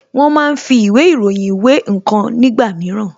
Wón máa ń fi ìwé ìròyìn wé ǹkan nígbà mìíràn